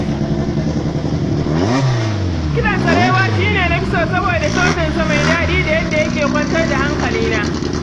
Kiɗan sarewa shi ne na fi so saboda sautinsa mai daɗi da yadda yake kwantar da hankalina.